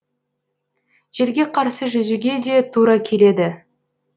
желге қарсы жүзуге де тура келеді